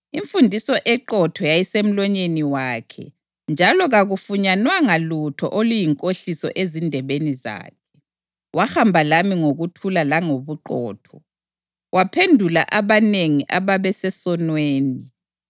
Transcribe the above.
Imfundiso eqotho yayisemlonyeni wakhe njalo kakufunyanwanga lutho oluyinkohliso ezindebeni zakhe. Wahamba lami ngokuthula langobuqotho, waphendula abanengi ababesesonweni.